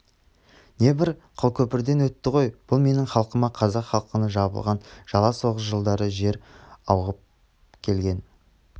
небір қылкөпрден өтті ғой бұл менің халқыма қазақ халқына жабылған жала соғыс жылдары жер ауып келген